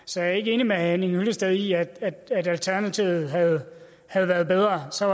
så jeg er ikke enig med herre henning hyllested i at alternativet havde havde været bedre så